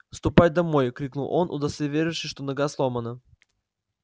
ступай домой крикнул он удостоверившись что нога сломана